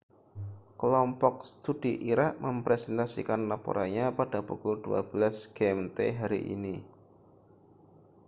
kelompok studi irak mempresentasikan laporannya pada pukul 12.00 gmt hari ini